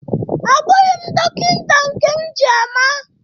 Abụghi m dọkịnta nke m ji ama.